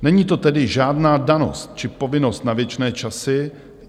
Není to tedy žádná danost či povinnost na věčné časy.